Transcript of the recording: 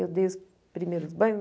Eu dei os primeiros banhos.